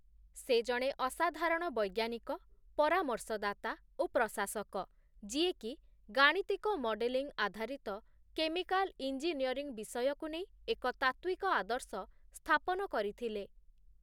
ସେ ଜଣେ ଅସାଧାରଣ ବୈଜ୍ଞାନିକ, ପରାମର୍ଶଦାତା ଓ ପ୍ରଶାସକ, ଯିଏ କି ଗାଣିତିକ ମଡେଲିଂ ଆଧାରିତ କେମିକାଲ ଇଞ୍ଜିନିୟରିଂ ବିଷୟକୁ ନେଇ ଏକ ତାତ୍ତ୍ଵିକ ଆଦର୍ଶ ସ୍ଥାପନ କରିଥିଲେ ।